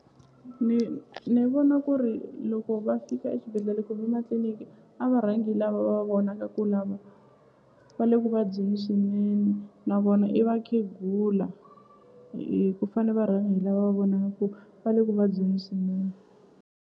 Ni ni vona ku ri loko va fika exibedhlele kumbe matliliniki a va rhangi lava va vonaka ku lava va le ku vabyeni swinene na vona i vakhegula hi ku fane va rhanga hi lava va vonaka ku va le ku vabyeni swinene.